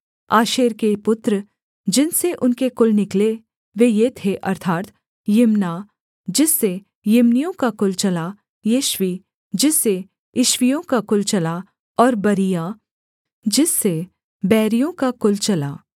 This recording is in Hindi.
आशेर के पुत्र जिनसे उनके कुल निकले वे ये थे अर्थात् यिम्ना जिससे यिम्नियों का कुल चला यिश्वी जिससे यिश्वीयों का कुल चला और बरीआ जिससे बैरियों का कुल चला